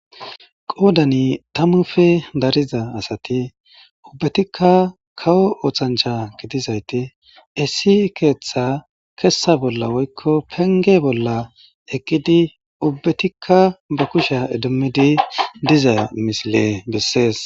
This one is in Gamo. qoodani tammufe dariza asati ubbetikka kawo oothancha gidizayti essi keeththa kessa bolla woykko penge bolla eqqidi ubbatikka ba kushya idimmidi diza misile bessees